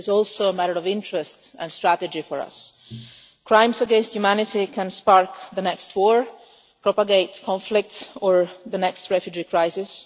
It is also a matter of interest and strategy for us. Crimes against humanity can spark the next war, propagate conflict or the next refugee crisis